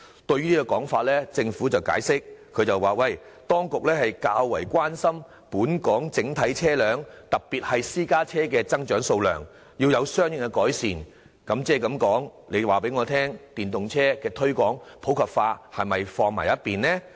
對此情況，政府解釋當局較關心本港整體車輛的數量增長，要有相應措施作出改善，這是否表示推廣電動車普及化的措施必須擱置？